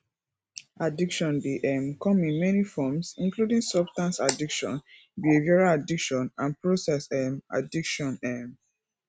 addiction dey um come in many forms including substance addiction behavioral addiction and process um addiction um